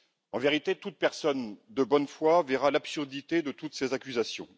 En vérité, toute personne de bonne foi verra l'absurdité de toutes ces accusations.